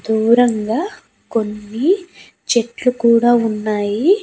దూరంగా కొన్ని చెట్లు కూడా ఉన్నాయి.